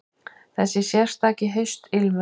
Þessi sérstaki haustilmur.